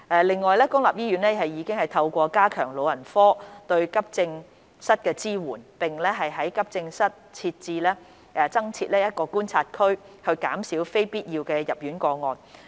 另外，公立醫院已透過加強老人科對急症室的支援，並於急症室增設觀察區，減少非必要入院的個案。